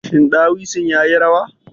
Shin ɗawisun ya yi rawa?